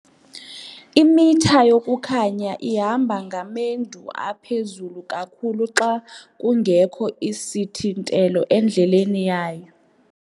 Imitha yokukhanya ihamba ngamendu aphezulu kakhulu xa kungekho sithintelo endleleni yayo.